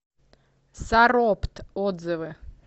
саропт отзывы